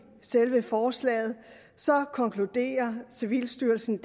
selve forslaget konkluderer civilstyrelsen